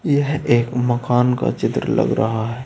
यह एक मकान का चित्र लग रहा है।